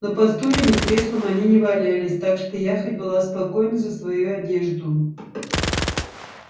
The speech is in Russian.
но по стульям и креслам они не валялись так что я хоть была спокойна за свою одежду